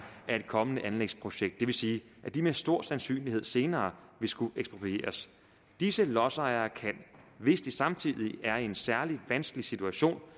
af et kommende anlægsprojekt og det vil sige at de med stor sandsynlighed senere vil skulle eksproprieres disse lodsejere kan hvis de samtidig er i en særlig vanskelig situation